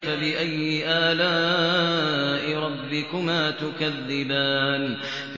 فَبِأَيِّ آلَاءِ رَبِّكُمَا تُكَذِّبَانِ